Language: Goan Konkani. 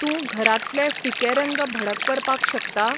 तूं घरांतले फिके रंग भडक करपाक शकता ?